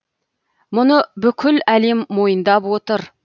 мұны бүкіл әлем мойындап отыр